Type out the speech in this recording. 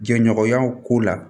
Jɛɲɔgɔnya ko la